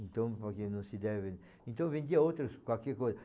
Então, porque não se deve... Então, vendia outras, qualquer coisa.